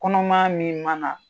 Kɔnɔmaya min mana